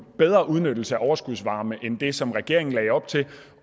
bedre udnyttelse af overskudsvarme end det som regeringen lagde op til